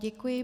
Děkuji.